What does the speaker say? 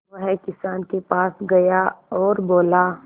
वह किसान के पास गया और बोला